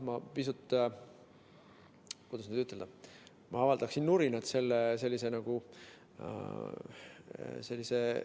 Ma pisut, kuidas nüüd ütelda, avaldaksin nurinat sellise